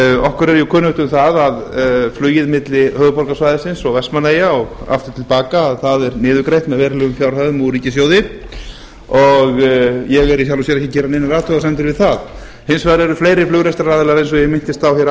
okkur er jú kunnugt um það að flugið milli höfuðborgarsvæðisins og vestmannaeyja og aftur til baka er niðurgreitt með verulegum fjárhæðum úr ríkissjóði ég vil í sjálfu sér ekki gera neinar athugasemdir við það hins vegar eru fleiri flugrekstraraðilar eins og ég minntist á hér